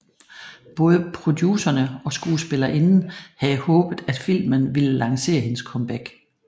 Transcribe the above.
Både producerne og skuespillerinden havde håbet at filmen ville lancere hendes comeback